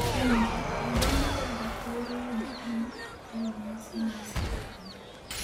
winji, nyadendi Gaga wero wend piny e nyasi mar sidho Onyango